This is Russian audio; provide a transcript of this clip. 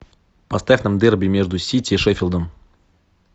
поставь нам дерби между сити и шеффилдом